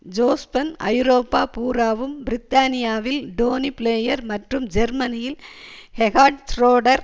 Jospin ஐரோப்பா பூராவும் பிரித்தானியாவில் டோனி பிளேயர் மற்றும் ஜெர்மனியில் ஹெகாட் ஷ்ரோடர்